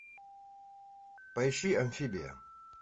поищи амфибия